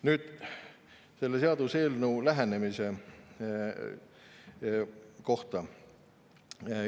Nüüd selle seaduseelnõu lähenemise kohta.